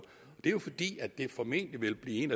det er jo fordi det formentlig vil blive